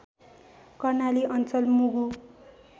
कर्णाली अञ्चल मुगु